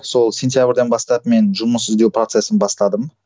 сол сентябрьден бастап мен жұмыс іздеу процесін бастадым